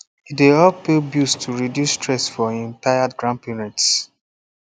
e dey help pay bills to reduce stress for him retired grandparents